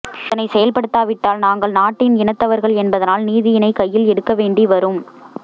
இதனை செயற்படுத்தா விட்டால் நாங்கள் நாட்டின் இனத்தவர்கள் என்பதனால் நீதியினை கையில் எடுக்க வேண்டிவரும்